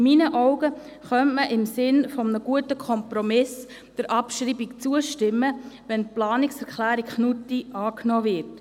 In meinen Augen könnte man im Sinne eines guten Kompromisses der Abschreibung zustimmen, wenn die Planungserklärung Knutti angenommen würde.